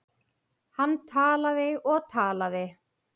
Hann talaði og talaði.